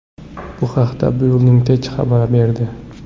Bu haqda Building Tech xabar berdi .